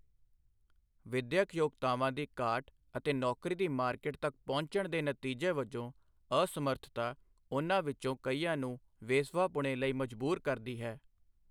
ਵਿਦਿਅਕ ਯੋਗਤਾਵਾਂ ਦੀ ਘਾਟ ਅਤੇ ਨੌਕਰੀ ਦੀ ਮਾਰਕਿਟ ਤੱਕ ਪਹੁੰਚਣ ਦੇ ਨਤੀਜੇ ਵਜੋਂ ਅਸਮਰਥਤਾ ਉਨ੍ਹਾਂ ਵਿੱਚੋਂ ਕਈਆਂ ਨੂੰ ਵੇਸਵਾਪੁਣੇ ਲਈ ਮਜਬੂਰ ਕਰਦੀ ਹੈ।